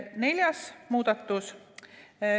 Neljas muudatus.